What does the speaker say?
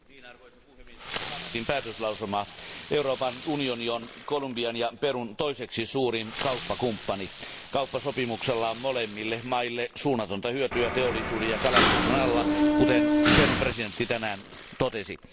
Arvoisa puhemies, kannatin päätöslauselmaa. Euroopan unioni on Kolumbian ja Perun toiseksi suurin kauppakumppani. Kauppasopimuksella on molemmille maille suunnatonta hyötyä teollisuuden ja kalastuksen alalla, kuten Perun presidentti tänään totesi.